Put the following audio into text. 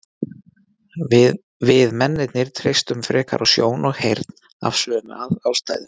við mennirnir treystum frekar á sjón og heyrn af sömu ástæðu